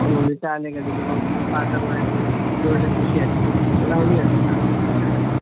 ಒಂದೊಂದು ಶಾಲೆಗಳಿಗೆ ಹೋಗಿ ಪಾಠ ಮಾಡಿ ಒಳ್ಳೆ ಖುಷಿ ಆಗ್ತದೆ ಇದೆಲ್ಲ ಹವ್ಯಾಸ ಸಣ್ಣ ಪುಟ್ಟ.